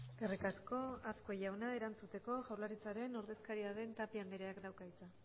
eskerrik asko azkue jauna erantzuteko jaurlaritzaren ordezkaria den tapia andreak dauka hitza